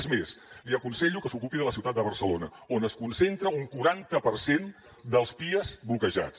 és més li aconsello que s’ocupi de la ciutat de barcelona on es concentra un quaranta per cent dels pias bloquejats